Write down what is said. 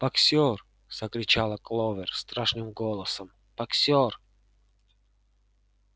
боксёр закричала кловер страшным голосом боксёр